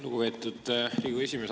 Lugupeetud Riigikogu esimees!